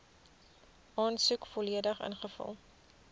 aansoek volledig ingevul